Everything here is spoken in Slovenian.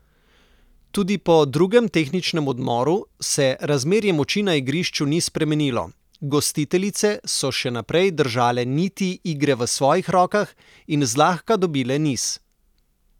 Tudi po drugem tehničnem odmoru se razmerje moči na igrišču ni spremenilo, gostiteljice so še naprej držale niti igre v svojih rokah in zlahka dobile niz.